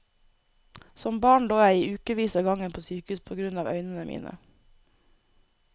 Som barn lå jeg i ukevis av gangen på sykehus på grunn av øynene mine.